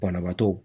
Banabaatɔ